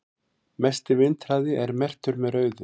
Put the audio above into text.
mesti vindhraði er merktur með rauðu